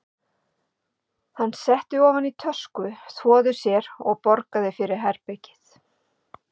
Hann setti ofan í tösku, þvoði sér og borgaði fyrir herbergið.